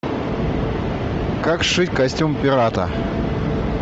как сшить костюм пирата